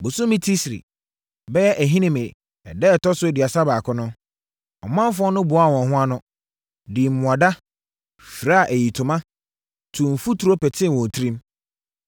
Bosome Tisri (bɛyɛ Ahinime) ɛda a ɛtɔ so aduasa baako no, ɔmanfoɔ no boaa wɔn ho ano, dii mmuada, firaa ayitoma, tuu mfuturo petee wɔn tirim.